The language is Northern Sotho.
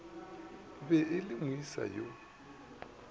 be e le moesa yo